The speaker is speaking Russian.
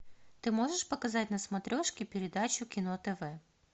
ты можешь показать на смотрешке передачу кино тв